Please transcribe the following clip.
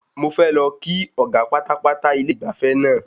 Mo fẹ́ lọ kí ọ̀gá pátápátá ilé ìgbafẹ́ náà.